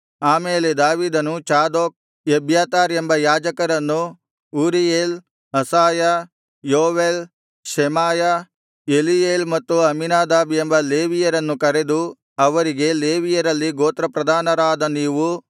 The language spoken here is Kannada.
ಆ ಮೇಲೆ ದಾವೀದನು ಚಾದೋಕ್ ಎಬ್ಯಾತಾರ್ ಎಂಬ ಯಾಜಕರನ್ನೂ Uriel Asaiah Joel Shemaiah Eliel ಮತ್ತು ಅಮ್ಮೀನಾದಾಬ್ ಎಂಬ ಲೇವಿಯರನ್ನು ಕರೆದು ಅವರಿಗೆ ಲೇವಿಯರಲ್ಲಿ ಗೋತ್ರಪ್ರಧಾನರಾದ ನೀವು